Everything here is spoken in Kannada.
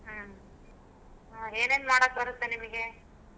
ಹ್ಮ್ ಏನೇನ್ ಮಾಡಾಕ್ ಬರ್ತ್ತೆ ನಿಮ್ಗೆ.